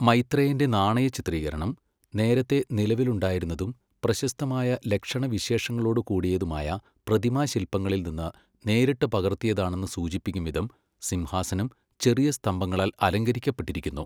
മൈത്രേയൻ്റെ നാണയചിത്രീകരണം, നേരത്തെ നിലവിലുണ്ടായിരുന്നതും പ്രശസ്തമായ ലക്ഷണവിശേഷങ്ങളോടുകൂടിയതുമായ പ്രതിമാശില്പങ്ങളിൽനിന്ന് നേരിട്ട് പകർത്തിയതാണെന്നു സൂചിപ്പിക്കുംവിധം, സിംഹാസനം ചെറിയ സ്തംഭങ്ങളാൽ അലങ്കരിക്കപ്പെട്ടിരിക്കുന്നു.